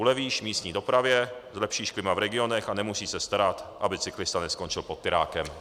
Ulevíš místní dopravě, zlepšíš klima v regionech a nemusíš se starat, aby cyklista neskončil pod tirákem.